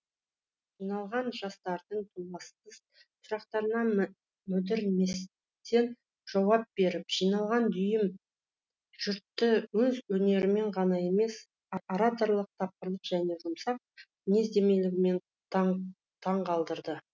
жиналған жастардың толасссыз сұрақтарына мүдірместен жауап беріп жиналған дүйім жұртты өз өнерімен ғана емес ораторлық тапқырлық және жұмсақ мінезділігімен де таңқалдырды